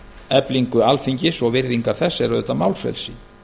eflingu alþingis og virðingar þess er málfrelsið